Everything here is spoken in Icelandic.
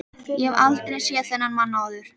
Ég hef aldrei séð þennan mann áður.